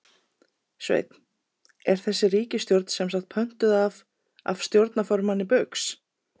Sveinn: Er þessi ríkisstjórn semsagt pöntuð af, af stjórnarformanni Baugs?